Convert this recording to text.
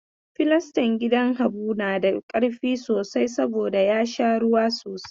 Filistan gidan Habu na da ƙarfi sosai saboda ya sha ruwa sosai.